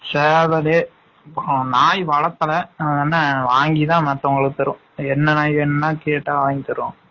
சேவலு, அப்ரம் நாய் வலதல ஆ என்ன வாங்கி தான் மத்தவங்கலுக்கு தரும் என்ன நாய் வேனா கேட்டா வாங்கி தரும்